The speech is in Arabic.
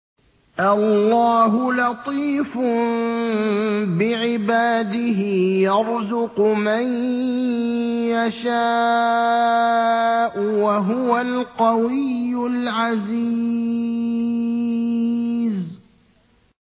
اللَّهُ لَطِيفٌ بِعِبَادِهِ يَرْزُقُ مَن يَشَاءُ ۖ وَهُوَ الْقَوِيُّ الْعَزِيزُ